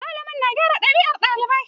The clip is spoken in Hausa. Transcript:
Malamai na gyara ɗabi'un ɗalibai